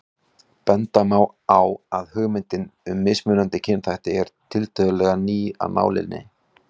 Benda má á að hugmyndin um mismunandi kynþætti er tiltölulega ný af nálinni.